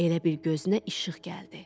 Elə bil gözünə işıq gəldi.